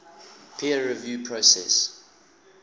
peer review process